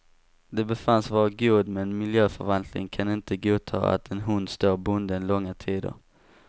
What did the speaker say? Den befanns vara god, men miljöförvaltningen kan inte godta att en hund står bunden långa tider.